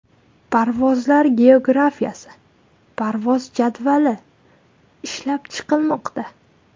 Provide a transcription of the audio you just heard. Parvozlar geografiyasi, parvoz jadvali ishlab chiqilmoqda.